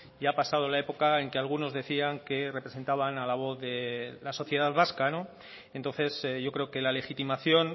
ya ha pasado la época en que algunos decían que representaban a la voz de la sociedad vasca entonces yo creo que la legitimación